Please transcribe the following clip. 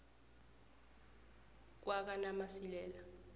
kwakanamasilela